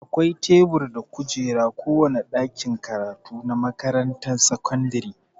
Akwai tebur da kujeraa kowane ɗakin karatu na makaranrar sakandire.